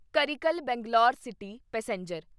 Karaikal Bangalore city passenger